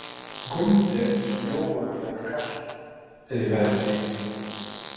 Eins og kunnugt er snjóar þegar kalt er í veðri.